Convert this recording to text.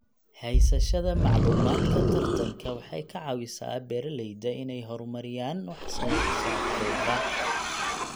Haysashada macluumaadka tartanka waxay ka caawisaa beeralayda inay horumariyaan wax soo saarkooda.